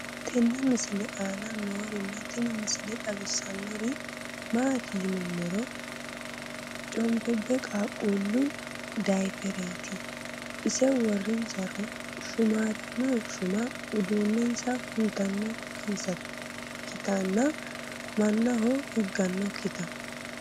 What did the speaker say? tenne misile aana noorina tini misile xawissannori maati yinummoro conbebe qaaqqullu dayiipherretti ise worinsaro shuummarinno shumma uduunensa hunttanonsakkittanna manahonno higannokitta